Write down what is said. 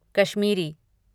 Kashmiri